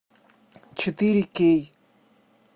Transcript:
четыре кей